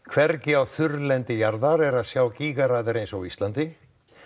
hvergi á þurrlendi jarðar er að sjá gígaraðir eins og á Íslandi